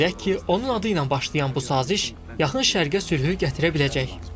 Ümid edək ki, onun adı ilə başlayan bu saziş Yaxın Şərqə sülhü gətirə biləcək.